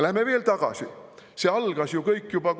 Läheme veel tagasi.